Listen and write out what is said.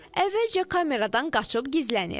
Əvvəlcə kameradan qaçıb gizlənir.